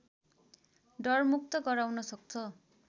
डरमुक्त गराउन सक्छ